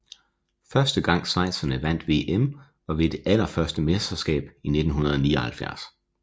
Første gang schweizerne vandt VM var ved det allerførste mesterskab i 1979